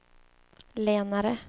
lenare